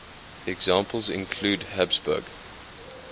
examples include habsburg